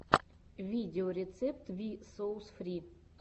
видеорецепт ви соус фри